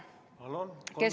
Kolm minutit lisaaega.